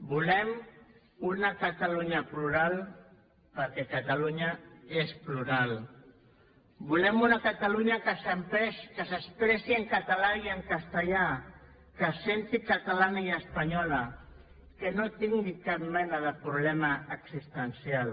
volem una catalunya plural perquè catalunya és plural volem una catalunya que s’expressi en català i en castellà que se senti catalana i espanyola que no tingui cap mena de problema existencial